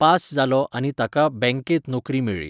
Pass जालो आनी ताका बँकेंत नोकरी मेळ्ळी.